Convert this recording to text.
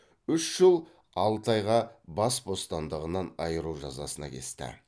үш жыл алты айға бас бостандығынан айыру жазасына кесті